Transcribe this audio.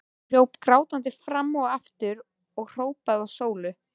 Hún hljóp grátandi fram og aftur og hrópaði á Sólu.